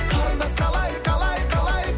қарындас қалай қалай қалай